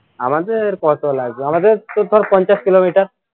আমাদের কত লাগবে আমাদের তো ধর পঞ্চাশ কিলোমিটার